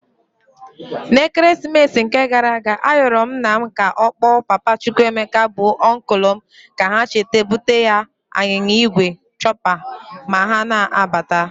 Na Ekeresimite nke garanụ ayọlụ nna m ka ọkpọ papa Chukwuemeka bụ ọnkụlụ m ka ha cheta bute ya anyịnya igwe chopper ma ha na-abata.